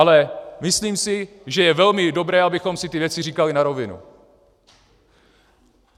Ale myslím si, že je velmi dobré, abychom si ty věci říkali na rovinu.